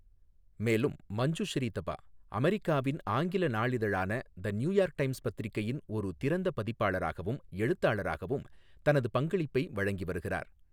மேலும் மஞ்சுஶ்ரீ தபா அமெரிக்காவின் ஆங்கில நாளிதழான த நியூயார்க் டைம்ஸ் பத்திரிகையின் ஒரு திறந்த பதிப்பாளராகவும் எழுத்தாளராகவும் தனது பங்களிப்பை வழங்கிவருகிறார்.